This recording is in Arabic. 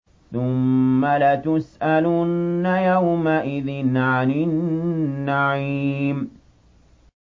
ثُمَّ لَتُسْأَلُنَّ يَوْمَئِذٍ عَنِ النَّعِيمِ